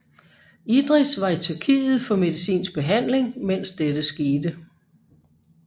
Idris var i Tyrkiet for medicinsk behandling mens dette skete